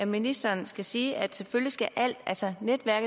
ministeren skal sige at selvfølgelig